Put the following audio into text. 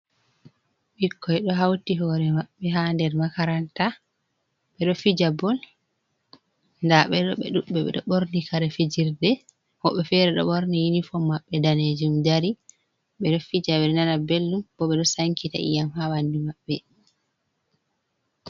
Ɓikkoi ɗo hauti hore maɓɓe ha nder makaranta ɓeɗo fija bol, nda ɓe ɗo ɓe dudɓe ɓeɗo ɓorni kare fijirde woɓɓe fere ɗo borni unifom maɓɓe danejum, dari bedo fija ɓe nana bellum bo ɓe ɗo sankita yiyam ha ɓandu maɓɓe.